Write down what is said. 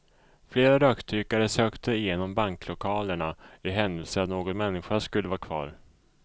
Flera rökdykare sökte igenom banklokalerna i händelse att någon människa skulle vara kvar.